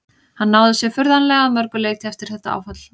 Hann náði sér furðanlega að mörgu leyti eftir þetta áfall.